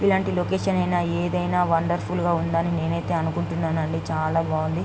ఈ లాంటి లొకేషన్ అయితే వండర్ఫుల్ గా ఉందని నేనైతే అనుకుంటున్నాను అండి చాలా బాగుంది.